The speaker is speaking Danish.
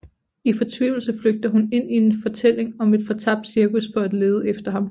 I fortvivlelse flygter hun ind i en fortælling om et fortabt cirkus for at lede efter ham